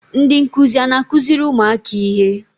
Ndị nkụzi a na-akụziri ụmụaka ihe?